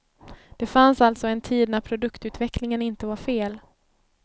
Det fanns alltså en tid när produktutveckling inte var fel.